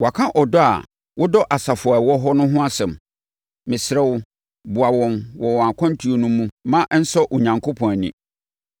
Wɔaka ɔdɔ a wodɔ asafo a ɛwɔ hɔ no ho asɛm. Mesrɛ wo, boa wɔn wɔn akwantuo no mu ma ɛnsɔ Onyankopɔn ani.